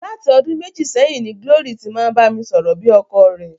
Láti ọdún méjì sẹ́yìn ni Glory ti máa ń bá mi sọ̀rọ̀ bí ọkọ rẹ̀.